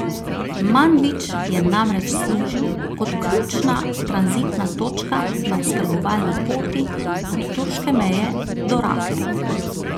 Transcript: Manbidž je namreč služil kot ključna tranzitna točka na oskrbovalni poti od turške meje do Rake.